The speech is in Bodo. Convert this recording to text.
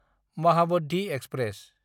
महाबद्धि एक्सप्रेस